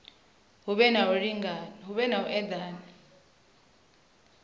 hu vhe na u edana